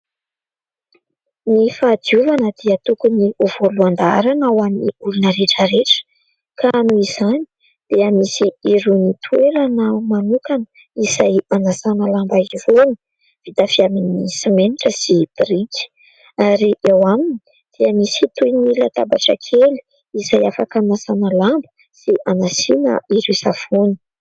Ny fahadiovana dia tokony ho voalohan-daharana ho an'ny olona rehetra rehetra, ka noho izany dia misy irony toerana manokana izay hanasana lamba irony, vita avy amin'ny simenitra sy biriky ary eo aminy dia misy toy ny latabatra kely izay afaka hanasana lamba sy hanasiana ireo savony.